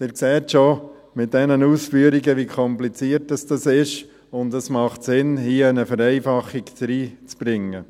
Sie sehen schon bei diesen Ausführungen, wie kompliziert dies ist, und es macht Sinn, hier eine Vereinfachung hineinzubringen.